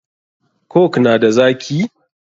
Coke na da zaki?